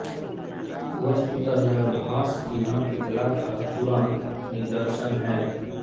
वस्तुतः यह भास की नाट्यकला का चूडान्त निदर्शन है